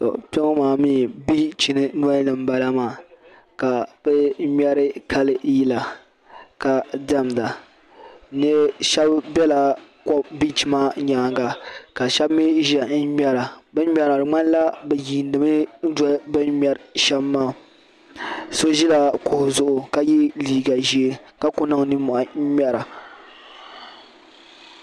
To kpeŋɔ maa mi bichi nɔlini n bala maa, ka bi ŋmeri kali yila ka demda shabi bela bich maa nyaaŋa, ka shabi ʒɛya n ŋmera, bin ŋmeri maa di mŋanla bi yiini mi bin ŋmeri sham maa so ʒila kuɣu zuɣu kaye liiga ʒɛɛ ka ku niŋ nin mɔhi n ŋmera.